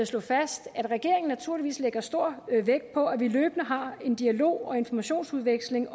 slå fast at regeringen naturligvis lægger stor vægt på at vi løbende har dialog og informationsudveksling